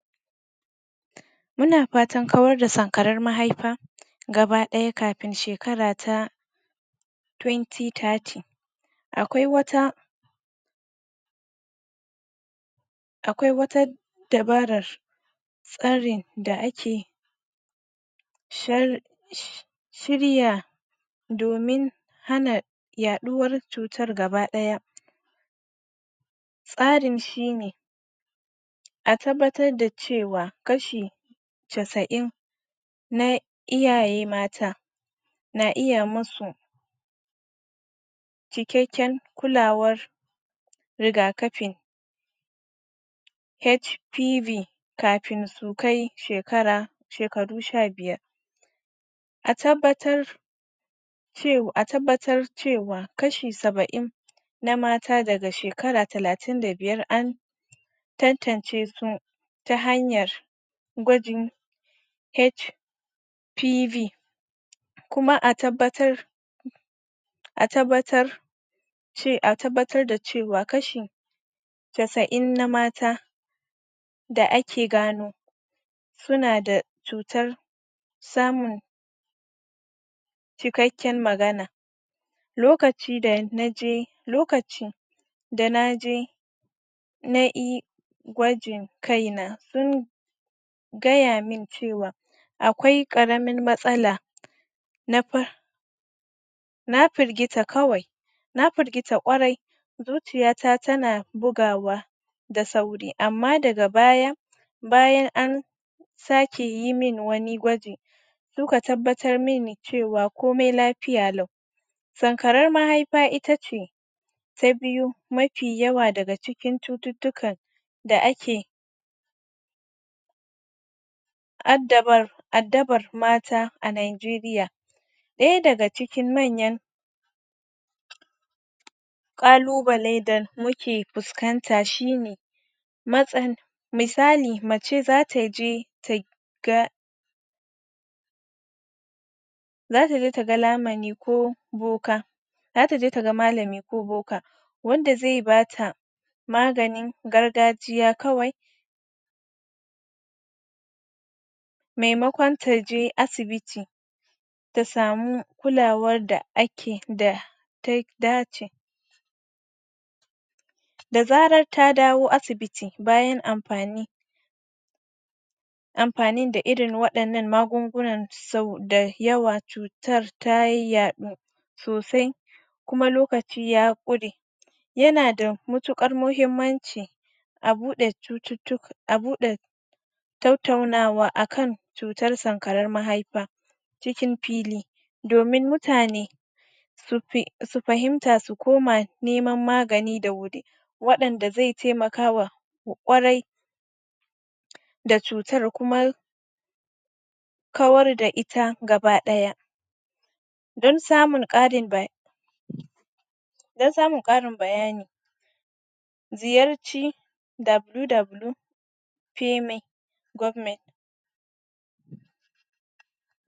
Muna fatan kawar da sankaren mahaifa gaba daya kafin shekara ta 2030 akwai wata, akwai wata dabarar tsarin da ake shirya domin hana yaduwar cutar gaba daya tsarin shine a tabbatar da cewa kashi casain na iyaye mata na iya musu cikakken kulawar riga kafi HPV kafin su kai shekaru sha biyar a tabbatar cewa kashi sabain na mata daga shekara talatin da biyar an tantance su ta hanyar gwajin HPV kuma a tabbatar a tabbatar a tabbatar da cewa kashi casain na mata da ake gani suna da cutar samun cikakken magana, lokacin da naje lokaci Da naje nayi gwajin kaina sun gaya min cewa akwai karamin matsala, na Na firgita kwarai, zuciya ta tana bugawa da sauri amma daga baya bayan an sake yi min wani gwaji, suka tabbatar mini komai lafiya lau, sankaren mahaifa ita ce ta biyu mafi yawa daga cikin cututtuka da ake addabar mata a Nigeria, daya daga cikin manyan kalubalen da muke fiskanta shine misali mace zata je ta ga zata ga malami ne ko boka, malami ne ko boka wanda zai bata maganin gargajiya kawai, maimakon taje asibiti ta samu kulawar da ta dace, da zarar ta dawo asibiti bayan amfanin da irin wannan maganin sau da yawa cutar ta yadu sosai kuma lokaci ya kure, yana da matukar mahimmaci a bude tattaunawa akan cutar sankarar mahaifa domin mutane su fahimta su koma neman magani da wuri wadanda zai taimakawa kwarai da cutar kuma kawar da ita gaba daya, don samun karin don samun karin bayani ziyarci wwwpaymegovernment.